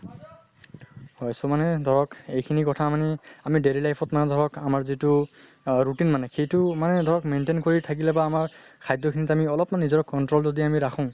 হয় চুমনে ধৰক এইখিনি কথা মানি আমি daily life ত মানে ধৰক আমাৰ যিটো অহ routine মানে সেইটো মানে ধৰক maintain কৰি থাকিলে বা আমাৰ খাদ্য় খিনিত আমি অলপ্মান নিজৰ control যদি আমি ৰাখো